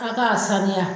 A k'a saniya